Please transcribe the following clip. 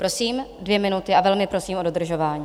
Prosím, dvě minuty, a velmi prosím o dodržování.